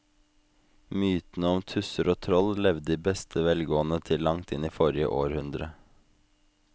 Mytene om tusser og troll levde i beste velgående til langt inn i forrige århundre.